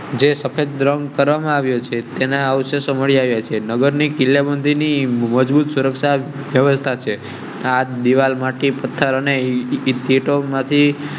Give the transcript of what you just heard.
તેના વિષયને કિલ્લેબંધી ની મજબૂત સુરક્ષા વ્યવસ્થા. પથર ને ઈંટો માંથી